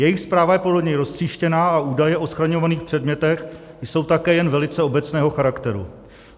Jejich správa je podle něj roztříštěná a údaje o schraňovaných předmětech jsou také jen velice obecného charakteru.